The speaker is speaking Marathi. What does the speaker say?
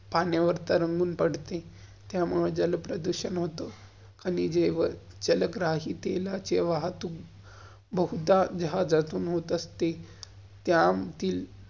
पाण्यावर तरंगुन पड़ते, त्यामुळं जलप्रदूषण होतो. आणि जल्ग्राहि तेलाचे वाहतुक बहोत्दा जहाजातुन हॉट असते. त्या~ती